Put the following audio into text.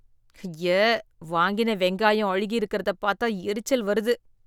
ஐய! வாங்கின வெங்காயம் அழுகி இருக்கிறதப் பாத்தா எரிச்சல் வருது